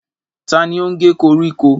Ta ni ó ń ge koríko?